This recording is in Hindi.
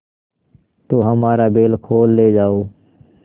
तो हमारा बैल खोल ले जाओ